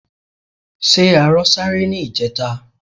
Ṣé arọ sáré ní ìjẹta?